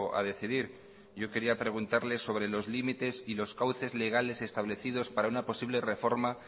a decidir yo quería preguntarle sobre los límites y los cauces legales establecidos para una posible reforma